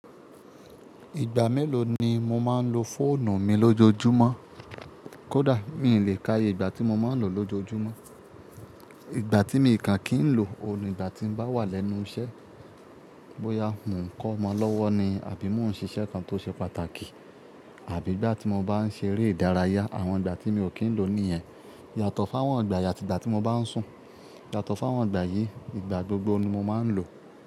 Ìgbà mélòó ni mo máa ń lo fóònù mi lójoojúmọ́? Kódà mi ò lè káaye ìgbà tí mo máa ń lò ó lójoojúmọ́. Ìgbà tí mi kàn kì í lò ó ni ìgbà tí mo bá wà lẹ́nu iṣẹ́, bóyá mò ń kọ́mọ lọ́wọ́ ni àbí mò ń ṣe iṣẹ́ kan tó ṣe pàtàkì àbí ìgbà tí mo bá ń ṣeré ìdárayá. Àwọn ìgbà tí mi ò kí ń lò ó nìyẹn. Yàtọ̀ fáwọn ìgbà yii ati ìgbà tí mo bá ń sùn. Yàtọ̀ fun wọn ìgbà yíi, ìgbà gbogbo ni mo máa ń lò ó.